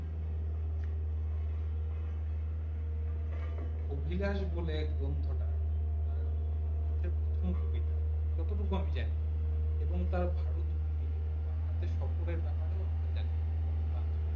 আভিধানিক বোলে গ্রন্থ টা রবীন্দ্রনাথ এর প্রথম কবিতা যত টুকু আমি জানি এবং তার ভারত ভূমি এবং বাংলাতে সকালের জানা আমরা জানি বঙ্গভঙ্গ আন্দলোন